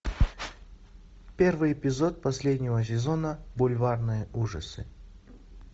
первый эпизод последнего сезона бульварные ужасы